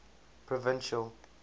provincial